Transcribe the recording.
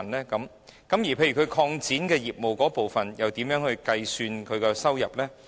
例如經營者擴展業務時，應如何計算其收入呢？